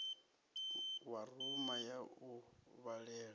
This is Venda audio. wa rumu ya u vhalela